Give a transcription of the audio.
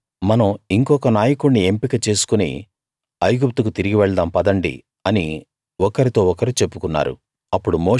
వారు మనం ఇంకొక నాయకుణ్ణి ఎంపిక చేసుకుని ఐగుప్తుకు తిరిగి వెళ్దాం పదండి అని ఒకరితో ఒకరు చెప్పుకున్నారు